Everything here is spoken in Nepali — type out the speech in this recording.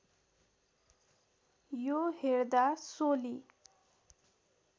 यो हेर्दा सोली